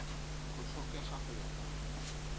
go tlhokega go ya ka